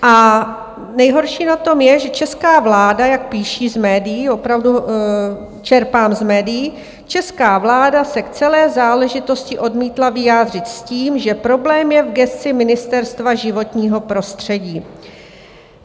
A nejhorší na tom je, že česká vláda, jak píší v médiích, opravdu čerpám z médií, česká vláda se k celé záležitosti odmítla vyjádřit s tím, že problém je v gesci Ministerstva životního prostředí.